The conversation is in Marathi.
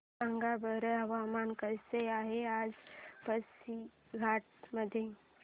सांगा बरं हवामान कसे आहे आज पासीघाट मध्ये